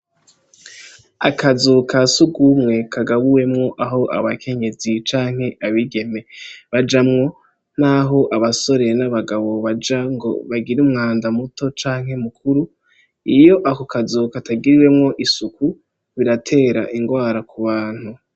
Akazu ka sugumwe kagabuwemwo aho abakenyezi canke abigeme bajamwo naho abasore n'abagabo baja ngo bagire umwanda muto canke mu kuru iyo ako kazu katagiriwemwo isuku biratera ingwara ku bantu.